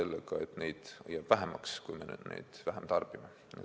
Lihtsalt neid loomi jääb vähemaks, kui me karusnahka vähem tarbime.